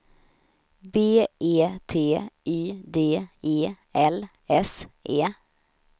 B E T Y D E L S E